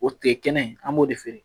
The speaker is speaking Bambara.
O tigɛ kɛnɛ an b'o de feere